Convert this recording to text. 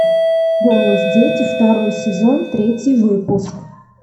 голос дети второй сезон третий выпуск